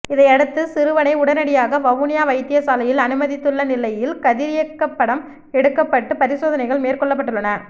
இதையடுத்து சிறுவனை உடனடியாக வவுனியா வைத்தியசாலையில் அனுமதித்துள்ள நிலையில் கதிரியக்கப்படம் எடுக்கப்பட்டு பரிசோதனைகள் மேற்கொள்ளப்பட்டுள்ளன